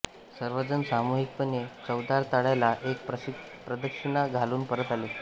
सर्वजण सामूहिकपणे चवदार तळ्याला एक प्रदक्षिणा घालून परत आले